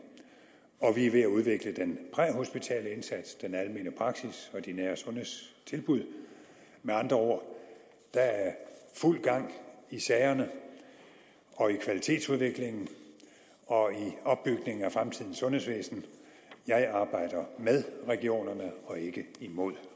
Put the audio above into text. vi er ved at udvikle den præhospitale indsats den almene praksis og de nære sundhedstilbud med andre ord der er fuld gang i sagerne og i kvalitetsudviklingen og i opbygningen af fremtidens sundhedsvæsen jeg arbejder med regionerne og ikke imod